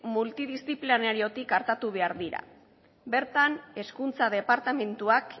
multidisziplinariotik artatu behar dira bertan hezkuntza departamenduak